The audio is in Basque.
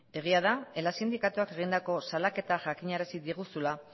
egia da ela sindikatuak egindako salaketa jakinarazi diguzula